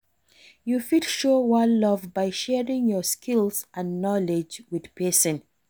you fit show one love by sharing your skills and knowledge with pesin.